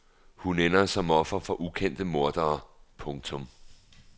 Hun ender som offer for ukendte mordere. punktum